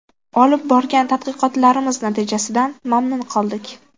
Olib borgan tadqiqotlarimiz natijasidan mamnun qoldik.